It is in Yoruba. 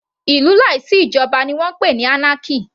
Ìlú láì sí ìjoba ni wọ́n ń pè anarchy.